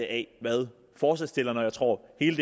af hvad forslagsstillerne og jeg tror hele